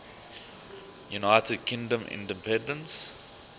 united kingdom independence